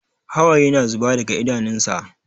Hawaye na zuba daga idanunsa.